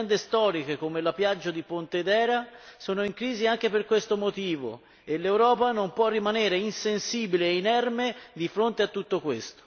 Aziende storiche come la Piaggio di Pontedera sono in crisi anche per questo motivo e l'Europa non può rimanere insensibile e inerme di fronte a tutto questo.